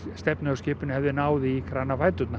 stefnið á skipinu hefði náð í